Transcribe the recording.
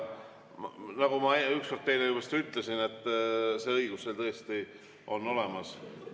Nagu ma ükskord teile vist juba ütlesin, see õigus teil on tõesti olemas.